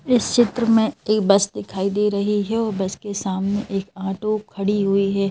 इस चित्र में एक बस दिखाई दे रही है वो बस के सामने एक ऑटो खड़ी हुई है।